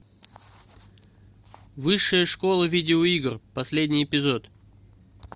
высшая школа видеоигр последний эпизод